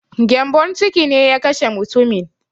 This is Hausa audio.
Gyambon ciki ne ya kashe mutumin